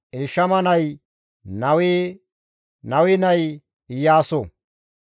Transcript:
Elshama nay Nawe; Nawe nay Iyaaso.